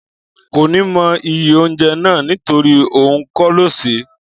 Kò ní mọ iyì oúnjẹ náà nítorí òhun kó lo ṣe